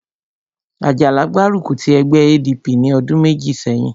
Àjàlá gbárùkù ti ẹgbẹ́ ADP ní ọdún méjì sẹ́yìn